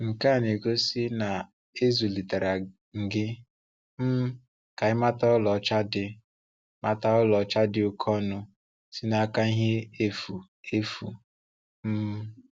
Nke a na-egosí na e zụ́litere m gị um ka í mata ọ̀laọ́cha dị mata ọ̀laọ́cha dị oke ọnụ sị́ n’áká ihe efu efu. um